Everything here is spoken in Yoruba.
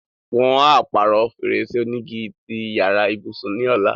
Wọn á pàrọ̀ fèrèsé onígi ti yàrá ìbùsùn ní ọ̀la.